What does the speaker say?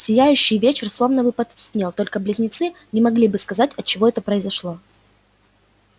сияющий вечер словно бы потускнел только близнецы не могли бы сказать отчего это произошло